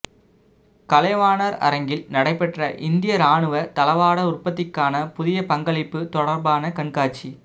கலைவாணர் அரங்கில் நடைபெற்ற இந்திய ராணுவ தளவாட உற்பத்திக்கான புதிய பங்களிப்பு தொடர்பான கண்காட்சி